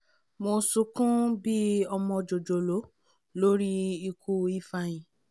mo sọkún bí ọmọ jòjòló lórí ikú ifeanyi